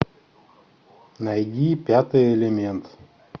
найди пятый элемент